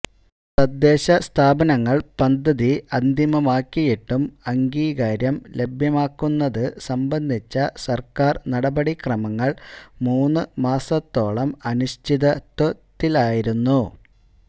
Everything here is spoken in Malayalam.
തദ്ദേശ സ്ഥാപനങ്ങള് പദ്ധതി അന്തിമമാക്കിയിട്ടും അംഗീകാരം ലഭ്യമാക്കുന്നത് സംബന്ധിച്ച സര്ക്കാര് നടപടിക്രമങ്ങള് മൂന്ന് മാസത്തോളം അനിശ്ചിതത്വത്തിലായിരുന്നു